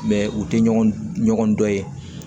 u tɛ ɲɔgɔn dɔn